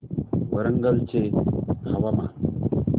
वरंगल चे हवामान